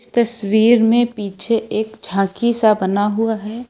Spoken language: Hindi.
तस्वीर में पीछे एक झांकी सा बना हुआ है।